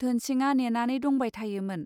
धोनसिंआ नेनानै दंबाय थायोमोन